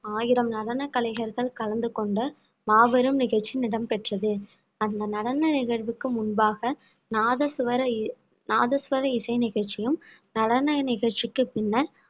ஆயிரம் நடன கலைஞர்கள் கலந்து கொண்ட மாபெரும் நிகழ்ச்சி இடம் பெற்றது அந்த நடன நிகழ்வுக்கு முன்பாக நாதசுவரை நாதஸ்வர இசை நிகழ்ச்சியும் நடன நிகழ்ச்சிக்கு பின்னர்